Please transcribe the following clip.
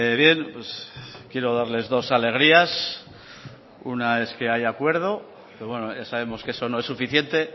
bien pues quiero darles dos alegrías una es que hay acuerdo pero bueno ya sabemos que eso no es suficiente